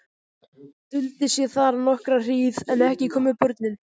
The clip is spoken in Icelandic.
Duldist ég þar nokkra hríð en ekki komu börnin.